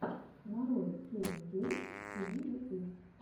нарой кевин гейтс ти ви ютуб